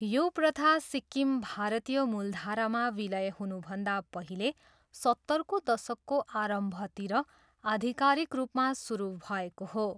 यो प्रथा सिक्किम भारतीय मूलधारामा विलय हुनुभन्दा पहिले सत्तरको दशकको आरम्भतिर आधिकारिक रूपमा सुरु भएको हो।